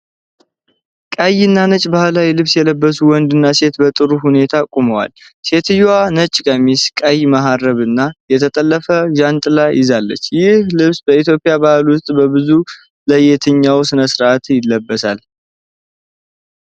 ቀይና ነጭ ባህላዊ ልብስ የለበሱ ወንድና ሴት በጥሩ ሁኔታ ቆመዋል። ሴትየዋ ነጭ ቀሚስ፣ ቀይ መሀረብና የተጠለፈ ዣንጥላ ይዛለች። ይህ ልብስ በኢትዮጵያ ባህል ውስጥ በብዛት ለየትኛው ሥነ-ሥርዓት ይለበሳል?